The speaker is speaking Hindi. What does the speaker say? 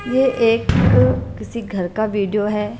यह एक किसी घर का वीडियो है।